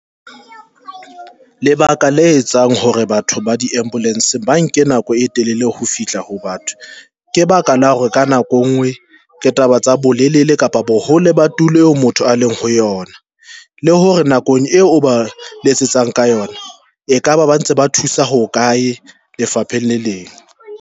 Lebaka le etsang hore batho ba di ambulance ba nke nako e telele ho fihla ho batho. Ke baka la hore ka nako engwe ke taba tsa bolelele kapa bo hole ba tulo eo motho a leng ho yona, le hore nakong eo o ba letsetsang ka yona e kaba ba ntse ba thusa ho kae lefapheng le leng.